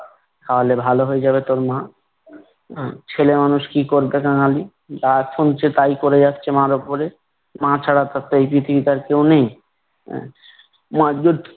খাওয়ালে ভালো হয়ে যাবে তোর মা। ছেলে মানুষ কি করবে কাঙালি। যা শুনছে তাই করে যাচ্ছে মার উপরে। মা ছাড়া তারতো এই পৃথিবীতে আর কেউ নেই। আহ মার দুধ